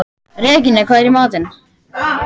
Regína, hvað er í matinn?